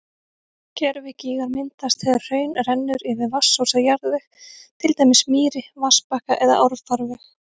Gervigígar myndast þegar hraun rennur yfir vatnsósa jarðveg, til dæmis mýri, vatnsbakka eða árfarveg.